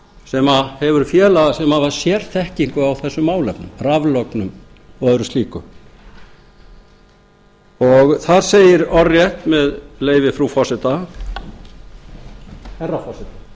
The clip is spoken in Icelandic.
sem hefur sérþekkingu á þessum málefnum raflögnum og öðru slíku og þar segir orðrétt með leyfi frú forseta herra